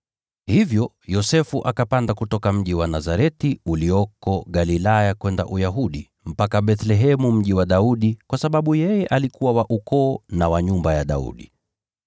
Hivyo Yosefu akapanda kutoka mji wa Nazareti ulioko Galilaya kwenda Uyahudi, mpaka Bethlehemu, mji wa Daudi, kwa sababu yeye alikuwa wa ukoo na wa nyumba ya Daudi.